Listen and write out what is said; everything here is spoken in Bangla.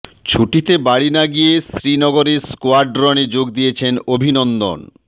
ছুটিতে বাড়ি না গিয়ে শ্রীনগরে স্কোয়াড্রনে যোগ দিয়েছেন অভিনন্দন